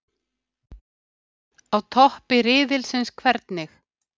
Á toppi riðilsins- hvernig?